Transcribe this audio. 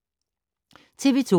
TV 2